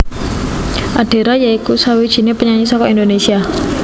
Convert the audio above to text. Adera ya iku sawijiné penyanyi saka Indonésia